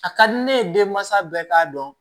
A ka di ne ye denmansa bɛɛ k'a dɔn